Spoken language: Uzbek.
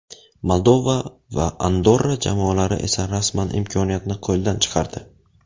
Moldova va Andorra jamoalari esa rasman imkoniyatni qo‘ldan chiqardi.